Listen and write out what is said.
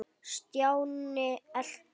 Stjáni elti.